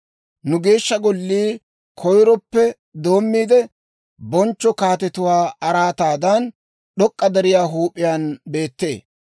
Nu Geeshsha Gollii koyiroppe doommiide, bonchcho kaatetuwaa araataadan, d'ok'k'a deriyaa huup'iyaan beettee.